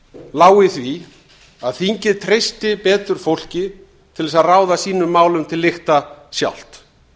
lá í því að þingið treysti betur fólki til þess að ráða sínum málum til lykta sjálft